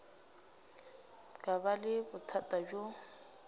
ka ba le bothata bjo